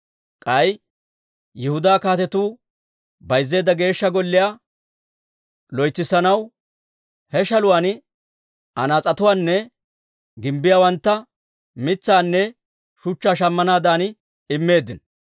K'ay Yihudaa kaatetu bayzziseedda Geeshsha Golliyaa loytsissanaw he shaluwaan anaas'etuunne gimbbiyaawantta mitsaanne shuchchaa shammanaadan immeeddino.